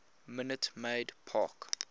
minute maid park